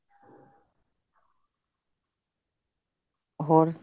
ਹੋਰ